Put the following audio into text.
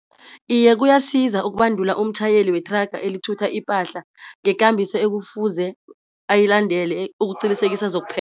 Iye kuyasiza ukubandula umtjhayeli wethraga elithutha ipahla ngekambiso ekufuze ayilandele ukuqinisekisa